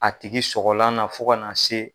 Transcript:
A tigi sɔgɔlan na fo ka na se